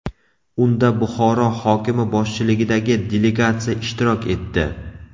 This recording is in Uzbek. Unda Buxoro hokimi boshchiligidagi delegatsiya ishtirok etdi.